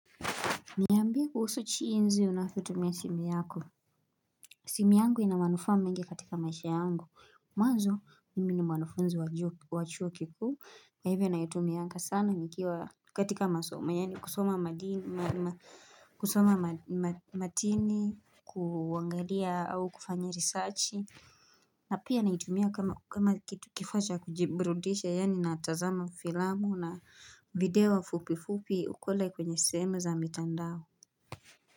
Niyambia kuhusu jinsi unavyotumia simu yako. Simi yangu inamanufaa mingi katika maisha yangu. Mwanzo, mimi ni mwanufunzi wachuo kikuu. Kwa hivyo naitumi aga sana nikiwa katika masoma. Yani kusoma matini, kuangalia au kufanya risechi. Na pia naitumia kama kifaacha kujiburudisha yani natazama filamu na video fupi fupi kule kwenye sehemu za mitandao.